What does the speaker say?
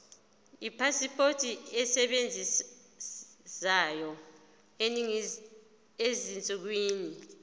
ipasipoti esebenzayo ezinsukwini